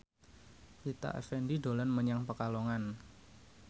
Rita Effendy dolan menyang Pekalongan